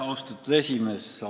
Austatud esimees!